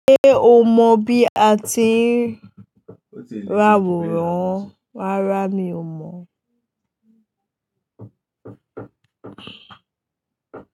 Ṣé o mọ bí a ti ń ra àwòrán? Rárá mi ò mọ̀